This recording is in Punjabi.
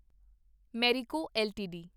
ਮੈਰਿਕੋ ਐੱਲਟੀਡੀ